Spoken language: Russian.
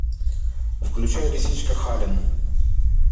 включай лисичка хален